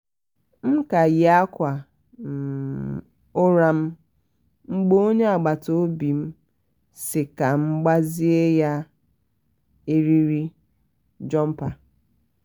m ka yi um akwa um ụra m mgbe onye agbata obi m si ka m gbazi ya um eriri jumpa